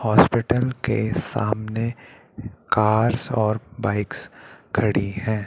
Hospital के सामने cars और बाइक्स खड़ी हैं।